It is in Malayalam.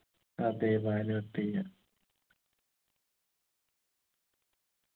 അതെ ഭാനു അത്തയ്യ